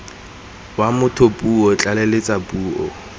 wa motho puo tlaleletso puo